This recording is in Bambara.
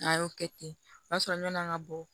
N'a y'o kɛ ten o y'a sɔrɔ ɲɔn'an ga bɔ